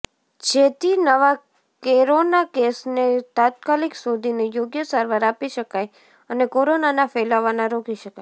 જેથી નવા કેરોના કેસને તાત્કાલીક શોધીને યોગ્ય સારવાર આપી શકાય અને કોરોનાના ફેલાવાના રોકી શકાય